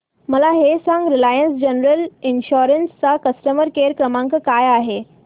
मला हे सांग रिलायन्स जनरल इन्शुरंस चा कस्टमर केअर क्रमांक काय आहे